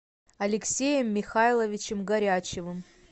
алексеем михайловичем горячевым